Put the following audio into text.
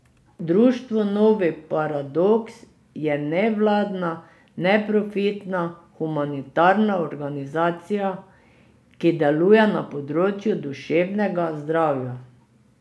Društvo Novi Paradoks je nevladna, neprofitna, humanitarna organizacija, ki deluje na področju duševnega zdravja.